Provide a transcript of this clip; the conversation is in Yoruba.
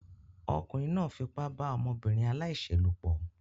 Ọkùnrin náà fipá bá ọmọbìnrin aláìṣẹ̀ lòpọ̀